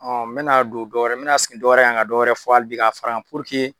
Ɔ n be na don dɔwɛrɛ n be na segin dɔwɛrɛ kan ka dɔwɛrɛ fɔ ali bi k'a far'a kan puruke